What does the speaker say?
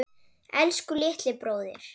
Elsku litli bróðir.